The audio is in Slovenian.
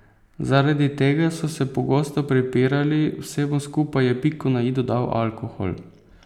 Zaradi tega so se pogosto prepirali, vsemu skupaj je piko na i dodal alkohol.